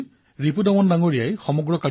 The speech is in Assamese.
ইয়াৰ বাবে মই আপোনাক অনেক অভিনন্দন জনাইছো